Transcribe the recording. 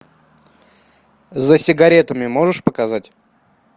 за сигаретами можешь показать